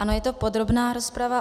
Ano, je to podrobná rozprava.